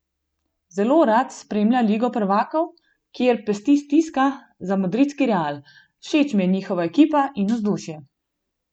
Zelo rad spremlja Ligo prvakov, kjer pesti stiska za madridski Real: "Všeč mi je njihova ekipa in vzdušje.